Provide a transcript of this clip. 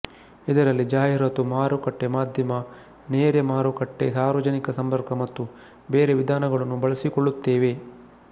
ಇದರಲ್ಲಿ ಜಾಹೀರಾತು ಮಾರುಕಟ್ಟೆ ಮಾಧ್ಯಮ ನೇರೆ ಮಾರುಕಟ್ಟೆ ಸಾರ್ವಜನಿಕ ಸಂಪರ್ಕ ಮತ್ತು ಬೇರೆ ವಿಧಾನಗಳನ್ನು ಬಳಸಿಕೊಳ್ಳುತ್ತೇವೆ